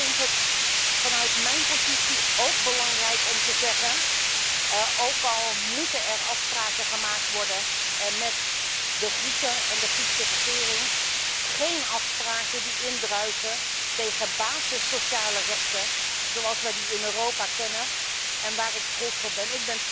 Maar ik vond het vanuit mijn positie ook belangrijk om te zeggen ook al moeten er afspraken gemaakt worden met de Grieken en de Griekse regering, geen afspraken die indruisen tegen sociale basisrechten zoals wij die in Europa kennen en waar ik trots op ben.